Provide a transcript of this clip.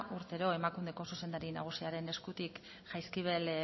urtero emakundeko zuzendaria nagusiaren eskutik jaizkibel